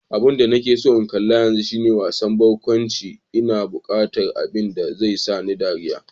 Abinda nake so in kalla yanzu shine wasan barkwanci, ina buqatar abin da zai sani dariya.